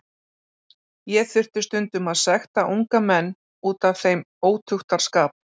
Ég þurfti stundum að sekta unga menn út af þeim ótuktarskap.